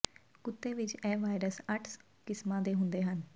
ਕੁੱਤੇ ਵਿਚ ਇਹ ਵਾਇਰਸ ਅੱਠ ਕਿਸਮਾਂ ਦੇ ਹੁੰਦੇ ਹਨ